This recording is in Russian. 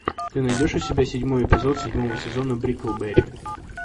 ты найдешь у себя седьмой эпизод седьмого сезона бриклберри